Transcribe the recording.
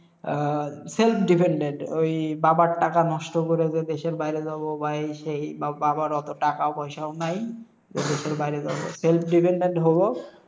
আহ self dependent, ঐ বাবার টাকা নষ্ট করে যে দেশের বাইরে যাবো বা এই সেই, বা- বাবার অতো টাকা পয়সাও নাই যে দেশের বাইরে যাবো। Self dependent হবো,